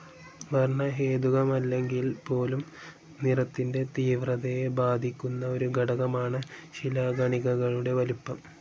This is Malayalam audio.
വർണ്ണഹേതുകമല്ലെങ്കിൽപോലും നിറത്തിൻ്റെ തീവ്രതയെ ബാധിക്കുന്ന ഒരു ഘടകമാണ് ശിലാകണികകളുടെ വലിപ്പം.